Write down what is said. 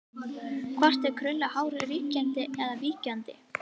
Hvort er krullað hár ríkjandi eða víkjandi?